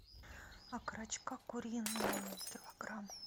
окорочка куриные килограмм